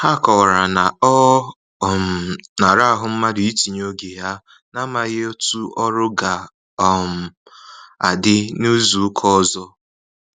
Ha kọwara na ọ um na ara ahụ mmadụ itinye oge ya na-amaghị otú ọrụ ga um adị na-ịzụ ụka ọzọ